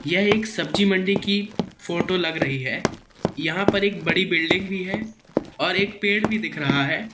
यह एक सब्जी मंडी की फोटो लग रही है यहां पर एक बड़ी बिल्डिंग भी है और एक पेड़ भी दिख रहा है।